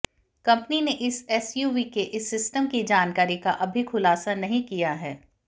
company ने इस SUV के इस सिस्टम की जानकारी का अभी खुलासा नहीं किया है